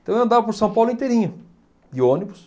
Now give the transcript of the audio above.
Então eu andava por São Paulo inteirinho, de ônibus.